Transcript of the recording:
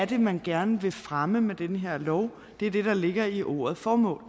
det er man gerne vil fremme med den her lov er det der ligger i ordet formål